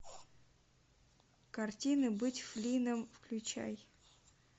картина быть флинном включай